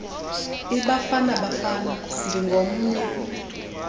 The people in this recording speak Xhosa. ibafana bafana ndingomnye